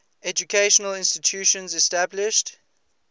educational institutions established